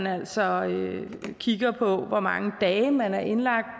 altså kigges på hvor mange dage man er indlagt